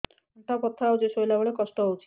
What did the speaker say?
ଅଣ୍ଟା ବଥା ହଉଛି ଶୋଇଲା ବେଳେ କଷ୍ଟ ହଉଛି